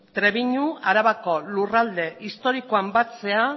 trebiñu arabako lurralde historikoan batzea